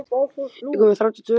sagði mamma alltaf.